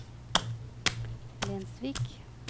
Lensvik